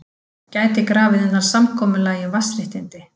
Gæti grafið undan samkomulagi um vatnsréttindi